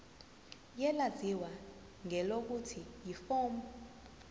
elaziwa ngelokuthi yiform